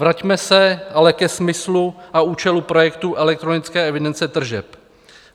Vraťme se ale ke smyslu a účelu projektu elektronické evidence tržeb.